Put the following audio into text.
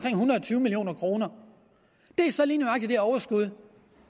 tyve million kroner det er så lige nøjagtig det overskud